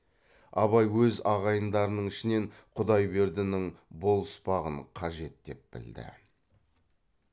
абай өз ағайындарының ішінен құдайбердінің болыспағын қажет деп білді